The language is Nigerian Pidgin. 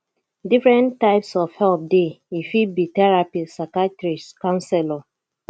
different types of help dey e fit be therapist psychiathrist councelor